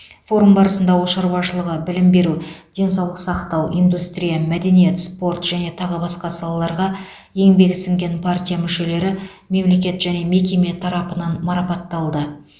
форум барысында ауыл шаруашылығы білім беру денсаулық сақтау индустрия мәдениет спорт және тағы басқа салаларға еңбегі сіңген партия мүшелері мемлекет және мекеме тарапынан марапатталды